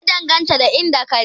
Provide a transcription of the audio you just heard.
Ya danganta da inda ka je